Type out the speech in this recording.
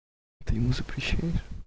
ты ему запрещаешь